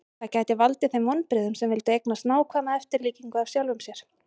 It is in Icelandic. Það gæti valdið þeim vonbrigðum sem vildu eignast nákvæma eftirlíkingu af sjálfum sér.